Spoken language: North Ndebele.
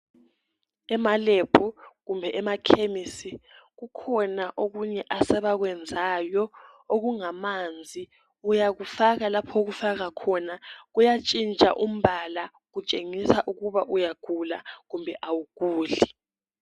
Emalab kumbe emakhemisi kukhona okunye asebakwenzayo okungamanzi uyakufaka lapha okufaka khona kuyatshintsha umbala kutshengisa ukuba uyagula kumbe awuguli